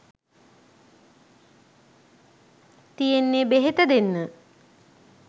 තියෙන්නෙ බෙහෙත දෙන්න.